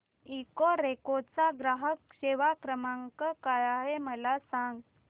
Ecoreco चा ग्राहक सेवा क्रमांक काय आहे मला सांग